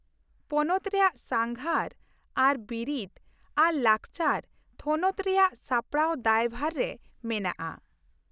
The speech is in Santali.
ᱯᱚᱱᱚᱛ ᱨᱮᱭᱟᱜ ᱥᱟᱸᱜᱷᱟᱨ ᱟᱨ ᱵᱤᱨᱤᱫᱽ ᱟᱨ ᱞᱟᱠᱪᱟᱨ ᱛᱷᱚᱱᱚᱛ ᱨᱮᱭᱟᱜ ᱥᱟᱯᱲᱟᱣ ᱫᱟᱭᱵᱷᱟᱨ ᱨᱮ ᱢᱮᱱᱟᱜᱼᱟ ᱾